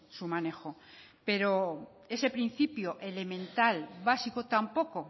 su manejo pero ese principio elemental básico tampoco